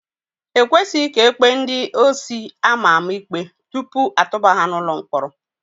Ekwesịghị ka ekpee ndị osi ama ama ikpe tupu atụba ha n'ụlọ mkpọrọ.